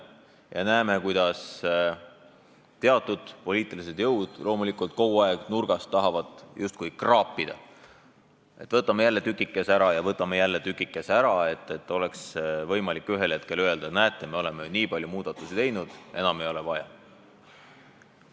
Me näeme, kuidas teatud poliitilised jõud kogu aeg nurgast tahavad neid justkui kraapida, et võtame jälle tükikese ära ja võtame jälle tükikese ära, nii et oleks võimalik ühel hetkel öelda, et näete, me oleme nii palju muudatusi teinud, enam ei ole vaja.